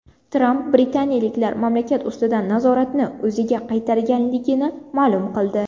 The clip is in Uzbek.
Tramp britaniyaliklar mamlakat ustidan nazoratni o‘ziga qaytarganligini ma’lum qildi.